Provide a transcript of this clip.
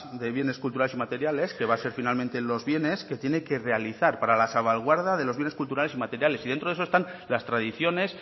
de bienes culturales inmateriales que va a ser finalmente los bienes que tiene que realizar para la salvaguarda de los bienes culturales inmateriales y dentro de eso están las tradiciones